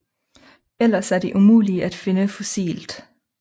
Ellers er de umulige at finde fossilt